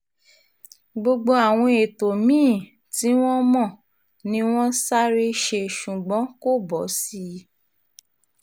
gbogbo àwọn ètò mí-ín tí wọ́n mọ̀ ni wọ́n sáré ṣe ṣùgbọ́n kò bọ́ sí i